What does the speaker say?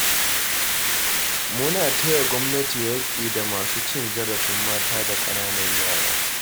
Muna taya gwamnati yaƙi da masu cin zarafin mata da ƙananan yara.